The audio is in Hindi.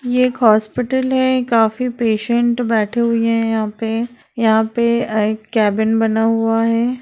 ये एक हॉस्पिटल है काफी पेसन्ट बेठे हुए है यहाँ पे यहाँ पे एक केबिन बना हुआ है।